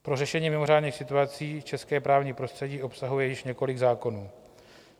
Pro řešení mimořádných situací české právní prostředí obsahuje již několik zákonů.